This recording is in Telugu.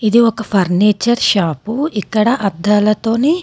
ఇది ఒక ఫర్నిచర్ షాపు . ఇక్కడ అద్దాలతోని--